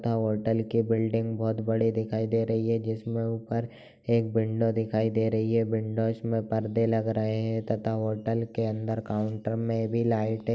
Hotel के building बहत बड़े दिखाई दे रही है जिसमें ऊपर एक बिंडो दिखाई दे रही है। बिंडो इसमें पर्दे लग रहे हैं तथा होटल के अंदर काउंटर में भी लाइटें --